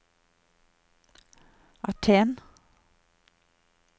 Aten